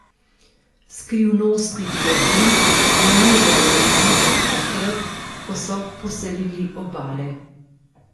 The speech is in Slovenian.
Skrivnosti globin vznemirjajo ljudi od takrat, ko so poselili obale.